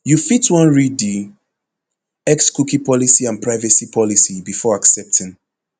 you fit wan read di xcookie policyandprivacy policybefore accepting